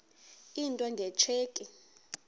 into nge tsheki